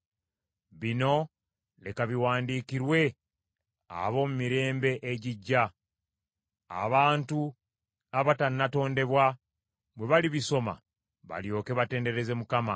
Bino leka biwandiikirwe ab’omu mirembe egirijja, abantu abatannatondebwa bwe balibisoma balyoke batendereze Mukama .